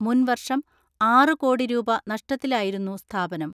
മുൻവർഷം ആറ് കോടി രൂപ നഷ്ടത്തിലായിരുന്നു സ്ഥാപനം.